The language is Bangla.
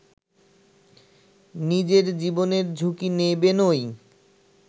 নিজের জীবনের ঝুঁকি নেবেনই